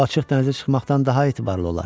Bu, açıq dənizə çıxmaqdan daha etibarlı olar.